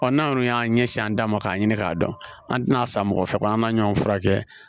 n'an kɔni y'an ɲɛsin an da ma k'a ɲini k'a dɔn an tɛna a san mɔgɔ fɛ ko an ka ɲɔn furakɛ